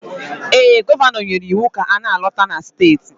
Ee, Gọvanọ nyere iwu ka ọ na-alọta na steeti